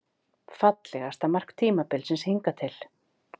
Fallegasta mark tímabilsins hingað til?